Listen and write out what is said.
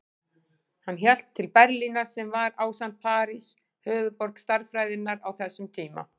Hann hélt til Berlínar sem var, ásamt París, höfuðborg stærðfræðinnar á þessum tíma.